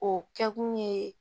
O kɛ kun ye